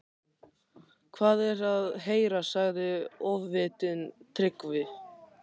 Hvað er að heyra, sagði Ofvitinn, Tryggvi